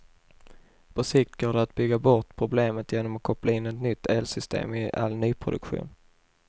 På sikt går det att bygga bort problemet genom att koppla in ett nytt elsystem i all nyproduktion.